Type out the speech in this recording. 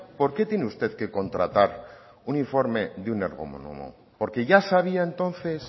por qué tiene usted que contratar un informe de un ergónomo porque ya sabía entonces